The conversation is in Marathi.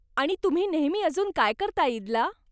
आणि तुम्ही नेहमी अजून काय करता ईदला?